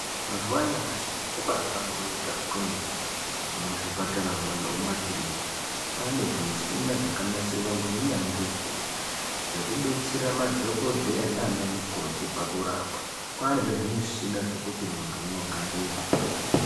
Mazuva anyamashi zviro zvabahlamburuka kwemene muzvipataramwo nekumakiriniki kwane zvimushini zvakanasirwa ngeunyanzvi ukurutu zvekudetsera madhokodheya nana mukoti pakurapa kwane zvezvi mushina zvekuti antu amogarira.